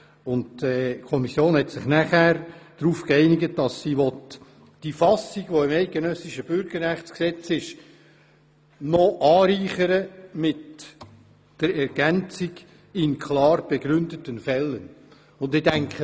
Die Kommission einigte sich darauf, die Fassung des BüG mit der Ergänzung «in klar begründeten Fällen» anzureichern.